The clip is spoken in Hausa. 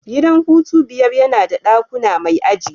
Gidan hutu biyar yana da dakuna mai aji.